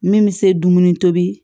Min bɛ se dumuni tobi